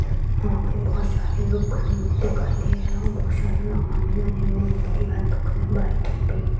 यहाँ पे बहोत सारे लोग खड़े हुए दिखाई दे रहे हैं और बहोत सारे मकाने बनी हुई। एक दीवाल का कलर बाइट है पिंक --